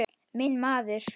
Minn maður.